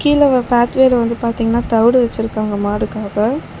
கீழ ஒரு பாத்து வேல வந்து பாத்தீங்கனா தவுடு வச்சுருக்காங்க மாடுகாக.